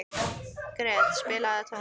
Gret, spilaðu tónlist.